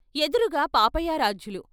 ఎదురుగా పాపయారాధ్యులు.